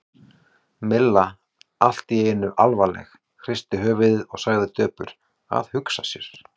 Milla allt í einu alvarleg, hristi höfuðið og sagði döpur: Að hugsa sér.